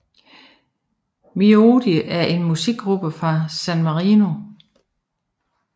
Miodio er en musikgruppe fra San Marino